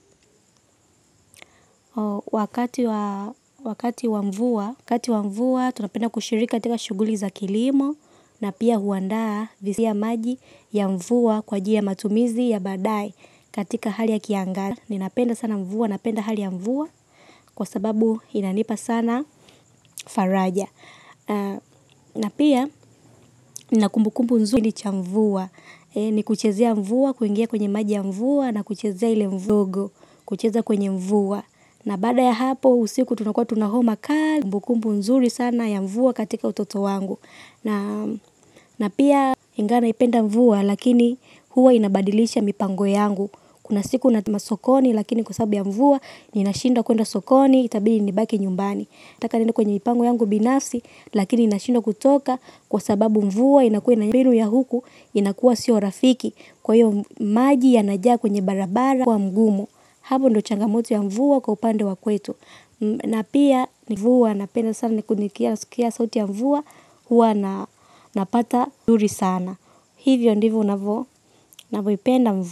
Wakati wa mvua, tunapenda kushiriki katika shuguli za kilimo na pia huandaa visi ya maji ya mvua kwa ajili ya matumizi ya badae katika hali ya kiangazi. Ninapenda sana mvua, napenda hali ya mvua kwa sababu inanipa sana faraja na pia, nakumbukumbu nzuri cha mvua, ni kuchezea mvua kuingia kwenye maji ya mvua na kuchezea ile mvugo, kuchezea kwenye mvua. Na baada ya hapo usiku tunakua tunahoma kali kumbu kumbu nzuri sana ya mvua katika utoto wangu. Na pia ingawa naipenda mvua lakini huwa inabadilisha mipango yangu. Kuna siku natuma sokoni lakini kwa sababu ya mvua ninashindwa kuenda sokoni itabidi nibaki nyumbani. Nataka niende kwenye mipango yangu binafsi lakini nashindwa kutoka kwa sababu mvua inakua na binu ya huku inakuwa sio rafiki. Kwa hiyo maji yanajaa kwenye barabara kwa mgumo. Hapo ndio changamoto ya mvua kwa upande wa kwetu na pia mvua napenda sana kusikia sauti ya mvua huwa napata mzuri sana, hivyo ndivyo navyoipenda mvua.